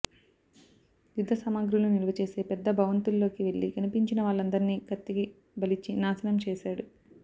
యుద్ధ సామాగ్రులు నిలవచేసే పెద్ద భవంతుల్లోకి వెళ్లి కనిపించిన వాళ్లందర్నీ కత్తికి బలిచ్చి నాశనం చేశాడు